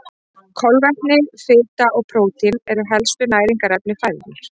Kolvetni, fita og prótín eru helstu næringarefni fæðunnar.